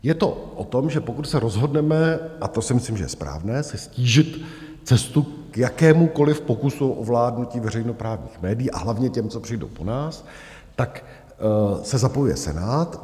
Je to o tom, že pokud se rozhodneme, a to si myslím, že je správné, si ztížit cestu k jakémukoliv pokusu o ovládnutí veřejnoprávních médií a hlavně těm, co přijdou po nás, tak se zapojuje Senát.